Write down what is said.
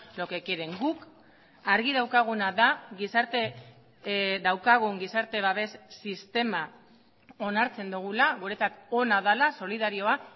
lo que quieren guk argi daukaguna da gizarte daukagun gizarte babes sistema onartzen dugula guretzat ona dela solidarioa